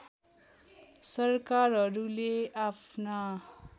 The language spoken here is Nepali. सरकारहरूले आफ्ना